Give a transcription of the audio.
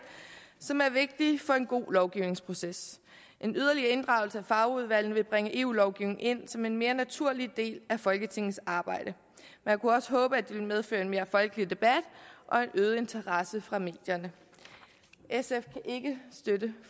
som er vigtige for en god lovgivningsproces en yderligere inddragelse af fagudvalgene vil bringe eu lovgivningen ind som en mere naturlig del af folketingets arbejde man kunne også håbe at det ville medføre en mere folkelig debat og en øget interesse fra medierne sf kan ikke støtte